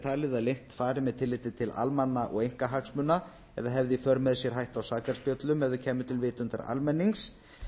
talið að leynt fari með tilliti til almanna og einkahagsmuna eða hefðu í för með sér hættu á sakarspjöllum ef þau kæmu til vitundar almennings